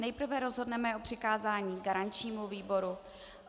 Nejprve rozhodneme o přikázání garančnímu výboru.